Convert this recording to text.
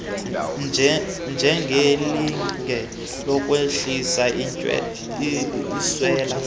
njengelinge lokwehlisa intswela